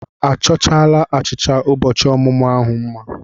A chọchaala achịcha ụbọchị ọmụmụ ahụ mma?